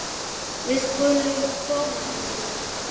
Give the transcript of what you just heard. Við skulum koma Dóri!